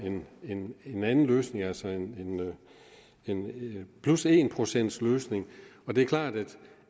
en anden løsning altså en en plus en procentsløsning og det er klart